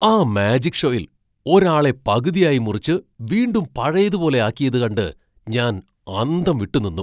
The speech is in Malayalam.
ആ മാജിക് ഷോയിൽ ഒരാളെ പകുതിയായി മുറിച്ച് വീണ്ടും പഴയതുപോലെ ആക്കിയത് കണ്ട് ഞാൻ അന്തംവിട്ട് നിന്നു.